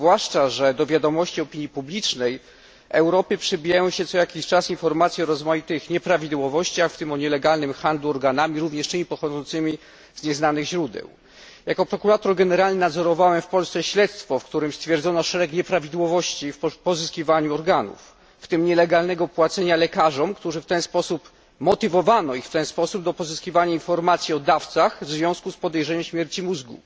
Zwłaszcza, że do wiadomości opinii publicznej w Europie przebijają się co jakiś czas informacje o różnych nieprawidłowościach, w tym o nielegalnym handlu organami pochodzącymi z nieznanych źródeł. Jako prokurator generalny nadzorowałem w Polsce śledztwo, w którym stwierdzono szereg nieprawidłowości w pozyskiwaniu organów, w tym nielegalne płacenie lekarzom, których w ten sposób motywowano do pozyskiwania informacji o dawcach, których podejrzewano o śmierć mózgu.